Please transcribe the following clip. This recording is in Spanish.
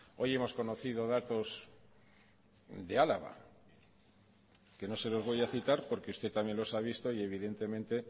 hoy hemos conocido datos de álava que no se los voy a citar porque usted también los ha visto y evidentemente